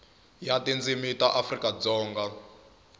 ya tindzimi ta afrika dzonga